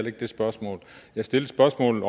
ikke det spørgsmål jeg stillede spørgsmålet